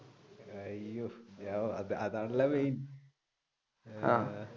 അയ്യോ അതാണല്ലോ main